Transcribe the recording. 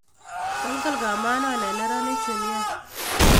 Kolkol kamanon en neranik chu nia.